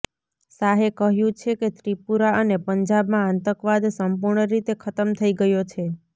શાહે કહ્યું છે કે ત્રિપુરા અને પંજાબમાં આતંકવાદ સંપૂર્ણ રીતે ખતમ થઈ ગયો છે